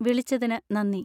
വിളിച്ചതിന് നന്ദി.